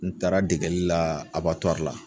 N taara degeli la la